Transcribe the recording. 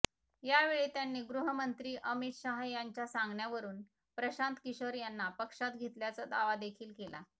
यावेळी त्यांनी गृहमंत्री अमित शहा यांच्या सांगण्यावरून प्रशांत किशोर यांना पक्षात घेतल्याचा दावा देखील केला